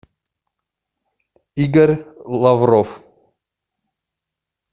игорь лавров